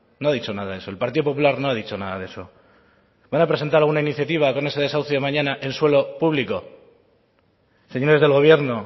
no ha dicho nada de eso el partido popular no ha dicho nada de eso van a presentar alguna iniciativa con ese desahucio mañana en suelo público señores del gobierno